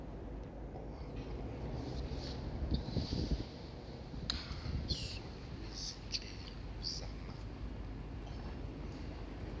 uxhaso lwezinhlelo zamakhono